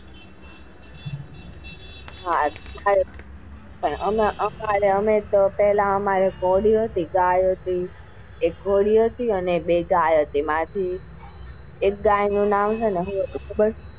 હા અમારે પેલા તો અમારે ઘોડીઓ હતી બે ગાયો હતો એક ઘોડી હતી ને બે ગાયો હતી એક ગાય નું નામ શું હતું ખબર છે?